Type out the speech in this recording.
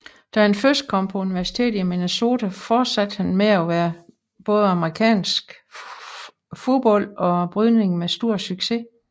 Da han kom på universitetet i Minnesota fortsatte han med både amerikansk fodbold og brydning med stor succes